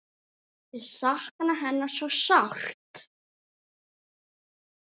Ég sakna hennar svo sárt.